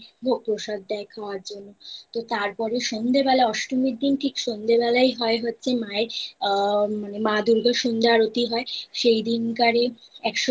ভোগ প্রসাদ দেয় খাওয়ার জন্য তো তার পরে সন্ধ্যা বেলায় অষ্টমীর দিন ঠিক সন্ধ্যে বেলায় হয় হচ্ছে মায়ের আ মা দূর্গার সন্ধ্যা আরতি হয় সেই দিনকারে